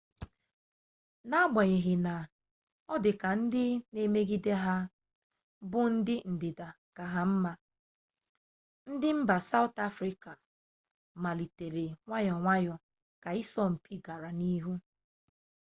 n'agbanyeghị na ọ dị ka ndị na emegide ha bụ ndị ndịda ka ha mma ndị mba sawụt afrịka melitere nwayọ nwayọ ka ịsọ mpi gara n'ihu